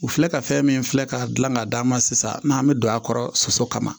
U filɛ ka fɛn min filɛ ka gilan ka d'a ma sisan n'an be don a kɔrɔ soso kama